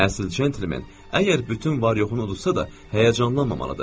Əsl centlmen əgər bütün var yoxunu uduzsa da, həyəcanlanmamalıdır.